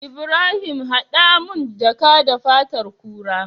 Ibrahim hada mun jaka da fatar kura